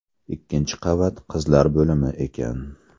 Ikkinchi qavat qizlar bo‘limi ekan.